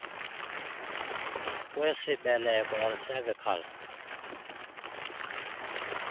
kwesibeleko or cervical